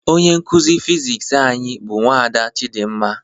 Onye nkụzi Fiziks anyị bụ nwada Chidimma